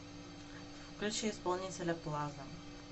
включи исполнителя плаза